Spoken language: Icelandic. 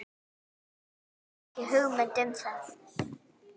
Hafði ekki hugmynd um það.